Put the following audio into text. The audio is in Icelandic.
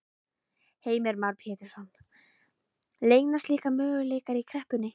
Heimir Már Pétursson: Leynast líka möguleikar í kreppunni?